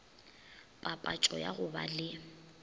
papatšo ya go ba le